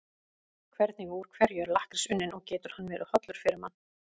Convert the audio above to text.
Hvernig og úr hverju er lakkrís unninn og getur hann verið hollur fyrir mann?